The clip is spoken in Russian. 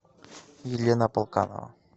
елена полканова